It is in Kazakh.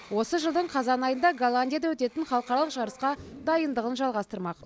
осы жылдың қазан айында голландияда өтетін халықаралық жарысқа дайындығын жалғастырмақ